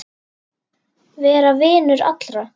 Vera vinur allra?